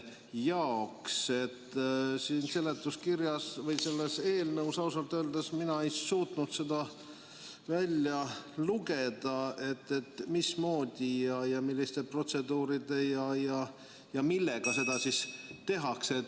Siit seletuskirjast või sellest eelnõust ausalt öeldes mina ei suutnud seda välja lugeda, mismoodi, milliste protseduuridega ja millega seda tehakse.